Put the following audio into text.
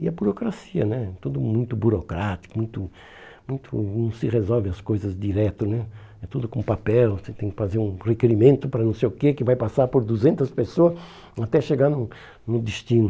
E a burocracia né, tudo muito burocrático, muito, muito, não se resolve as coisas diretas né, é tudo com papel, você tem que fazer um requerimento para não sei o que, que vai passar por duzentas pessoas até chegar no no destino.